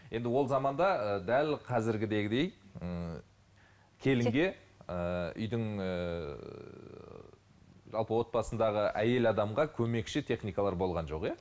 енді ол заманда ыыы дәл қазіргідегідей ііі келінге ііі үйдің ііі жалпы отбасындағы әйел адамға көмекші техникалар болған жоқ иә